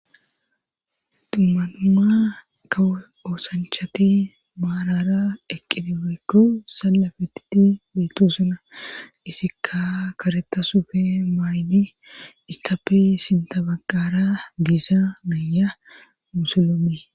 dummanuma ka oosanchati maarara eqqidi weekku sallafetitti beettu suna isikka karetasufe maayni istappi sinta baggara diisa maaya musulome